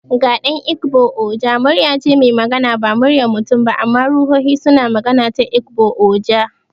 Ga dan Igbo, Oja muryar ce mai magana. Ba muryar mutum ba, amma ruhohi suna magana ta Ogbu-oja.